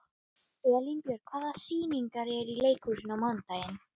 Elínbjörg, hvaða sýningar eru í leikhúsinu á mánudaginn?